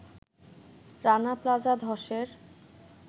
Rana plaza ধসের